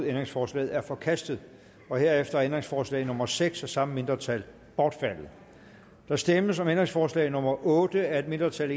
ændringsforslaget er forkastet herefter er ændringsforslag nummer seks af samme mindretal bortfaldet der stemmes om ændringsforslag nummer otte af et mindretal